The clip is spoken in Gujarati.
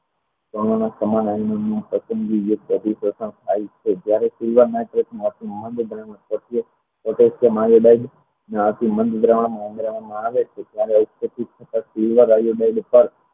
કણનો અધીકેશન થાય છે જ્યારે ક્રિયા માટે